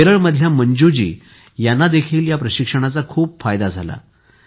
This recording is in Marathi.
केरळमधल्या मंजूजीं यांनाही या प्रशिक्षणाचा खूप फायदा झाला आहे